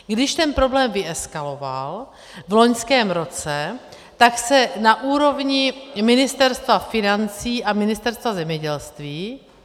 Když ten problém vyeskaloval v loňském roce, tak se na úrovni Ministerstva financí a Ministerstva zemědělství...